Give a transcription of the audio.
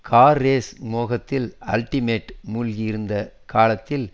car race மோகத்தில் ultimate மூழ்கி இருந்த காலத்தில்